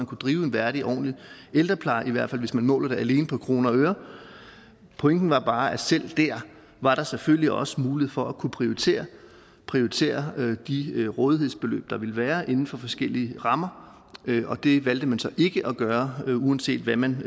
kunne drives en værdig og ordentlig ældrepleje i hvert fald hvis vi måler det alene på kroner og øre pointen var bare at selv der var der selvfølgelig også en mulighed for at kunne prioritere prioritere de rådighedsbeløb der ville være inden for forskellige rammer og det valgte man så ikke at gøre uanset hvad man